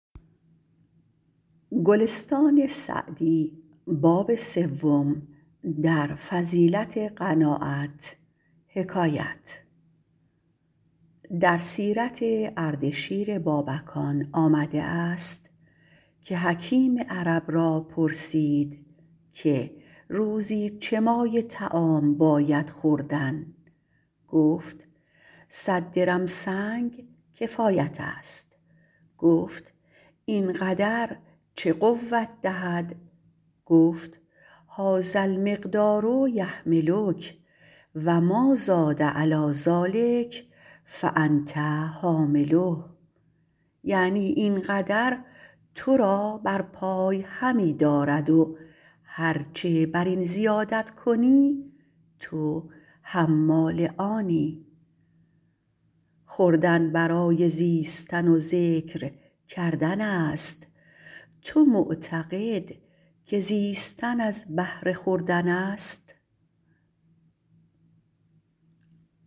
در سیرت اردشیر بابکان آمده است که حکیم عرب را پرسید که روزی چه مایه طعام باید خوردن گفت صد درم سنگ کفایت است گفت این قدر چه قوت دهد گفت هٰذا المقدار یحملک و مٰازاد علیٰ ذٰلک فانت حامله یعنی این قدر تو را بر پای همی دارد و هر چه بر این زیادت کنی تو حمال آنی خوردن برای زیستن و ذکر کردن است تو معتقد که زیستن از بهر خوردن است